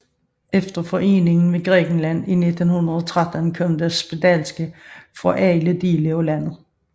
Efter foreningen med Grækenland i 1913 kom der spedalske fra alle dele af landet